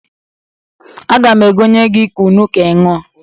Aga m egonye gị kunu ka ị ṅụọ.